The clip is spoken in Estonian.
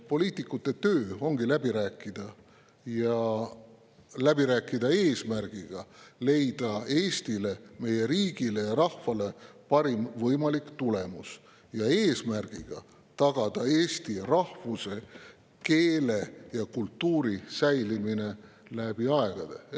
Poliitikute töö ongi läbi rääkida ja läbi rääkida, eesmärgiga leida Eestile, meie riigile ja rahvale parim võimalik tulemus, eesmärgiga tagada eesti rahvuse, keele ja kultuuri säilimine läbi aegade.